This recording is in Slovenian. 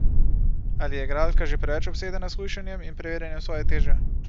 Ali je igralka že preveč obsedena s hujšanjem in preverjanjem svoje teže?